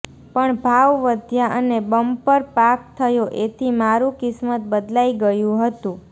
પણ ભાવ વધ્યા અને બમ્પર પાક થયો એથી મારું કિસ્મત બદલાઈ ગયું હતું